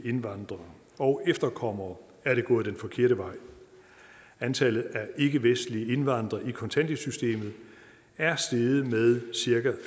indvandrere og efterkommere er det gået den forkerte vej antallet af ikkevestlige indvandrere i kontanthjælpssystemet er steget med cirka